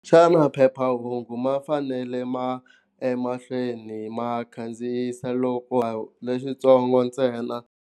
Xana phephahungu ma fanele ma emahlweni ma khandziyisa loko lexitsongo ntsena.